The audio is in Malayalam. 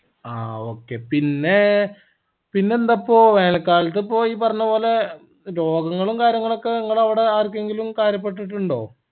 ആ okay പിന്നേ പിന്നെന്താപ്പോ വേനൽ കാലത്ത് ഇപ്പൊ ഈ പറഞ്ഞപോലെ രോഗങ്ങളും കാര്യങ്ങളും ഇങ്ങളെ അവടെ ആർക്കെങ്കിലും കാര്യപെട്ടിട്ടുണ്ടോ